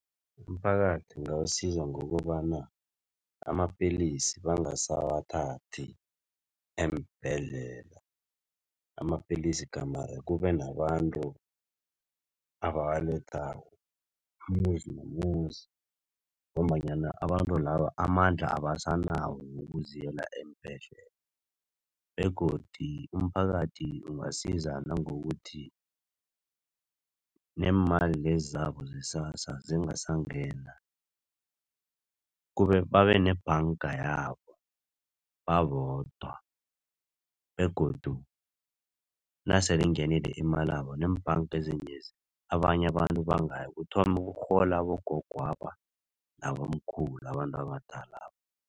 Imiphakathi ungasiza ngokobana amapellisi bangasawathathi eembhedlela. Amapellisi gamare kube nabantu abawalethako umuzi nomuzi ngombanyana abantu laba amandla abasanawo wokuziyela eembhedlela begodu umphakathi ungasiza nangokuthi, neemali lezi zabo ze-SASSA zingasangena babe nebhanga yabo babodwa begodu nasele ingenile imalabo, neembhanga ezinyezi abanye abantu bangaya kuthome kurhole abogogwaba nabomkhulu abantu abadalaba.